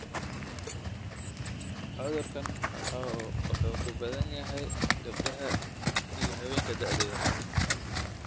Cudurkaan wuxuu ku badan yahay gabdhaha iyo haweenka da'da yar.